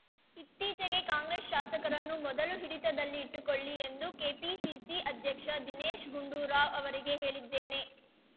ಇತ್ತೀಚೆಗೆ ಕಾಂಗ್ರೆಸ್‌ ಶಾಸಕರನ್ನು ಮೊದಲು ಹಿಡಿತದಲ್ಲಿ ಇಟ್ಟುಕೊಳ್ಳಿ ಎಂದು ಕೆಪಿಸಿಸಿ ಅಧ್ಯಕ್ಷ ದಿನೇಶ್‌ ಗುಂಡೂರಾವ್‌ ಅವರಿಗೆ ಹೇಳಿದ್ದೇನೆ